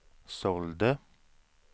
sålde